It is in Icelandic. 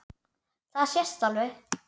Það sést alveg.